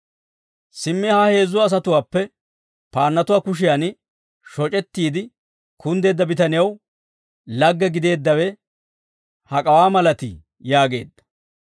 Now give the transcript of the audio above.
«Simmi ha heezzu asatuwaappe, paannatuwaa kushiyan shoc'ettiide kunddeedda bitanew, lagge gideeddawe hak'awaa malatii?» yaageedda.